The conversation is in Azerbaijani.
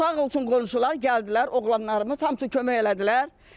Sağ olsun qonşular gəldilər, oğlanlarımız hamısı kömək elədilər.